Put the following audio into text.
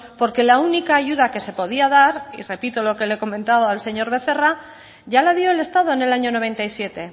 porque la única ayuda que se podía dar y repito lo que le he comentado al señor becerra ya la dio el estado en el año noventa y siete